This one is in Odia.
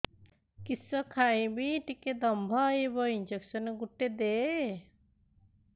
କିସ ଖାଇମି ଟିକେ ଦମ୍ଭ ଆଇବ ଇଞ୍ଜେକସନ ଗୁଟେ ଦେ